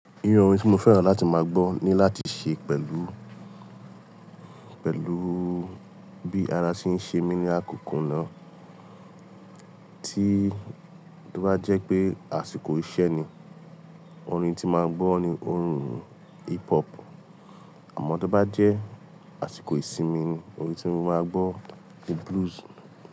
Irú orin ti mo fẹ́ràn láti máa gbọ́ ni láti ṣe pẹ̀lú, pẹ̀lú bí ara ti ń ṣe mi ni àkókò náà. Tí ó bá jẹ́ pé àsìkò iṣẹ́ ni, orin tí máa gbọ́ ni orin hip hop. Àmọ́ tó bá jẹ́ àsìkò ìsinmi ni, orin tí mo máa gbọ́ ni blues.